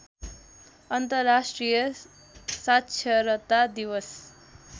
अन्तर्राष्ट्रिय साक्षरता दिवस